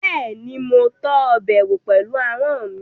Bẹ́ẹ̀ni, mo tọ́ ọbẹ̀ wò pẹ̀lú ahọ́n mi